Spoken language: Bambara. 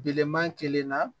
Bilenman kelen na